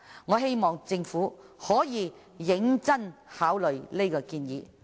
我希望政府可以認真考慮這項建議。